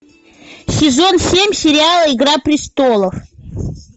сезон семь сериала игра престолов